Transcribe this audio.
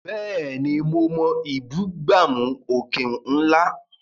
Bẹ́ẹ̀ni, mo mọ ìbúgbàmù òkè ńlá.